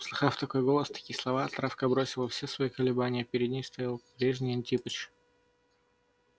услыхав такой голос такие слова травка бросила все свои колебания перед ней стоял прежний прекрасный антипыч